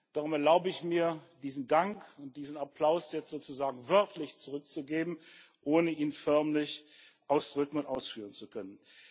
Darum erlaube ich mir, diesen Dank und diesen Applaus jetzt sozusagen wörtlich zurückzugeben, ohne ihn förmlich ausdrücken und ausführen zu können.